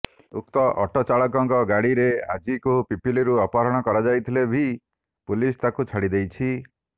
ଉକ୍ତ ଅଟୋ ଚାଳକଙ୍କ ଗାଡ଼ିରେ ଅଜିତ୍କୁ ପିପିଲିରୁ ଅପହରଣ କରାଯାଇଥିଲେ ବି ପୁଲିସ ତାକୁ ଛାଡ଼ି ଦେଇଛି